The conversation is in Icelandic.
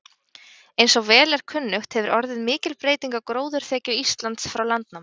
Eins og vel er kunnugt hefur orðið mikil breyting á gróðurþekju Íslands frá landnámi.